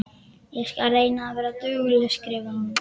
Ég skal reyna að vera dugleg, skrifar hún.